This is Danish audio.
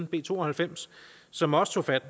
b to og halvfems som også tog fat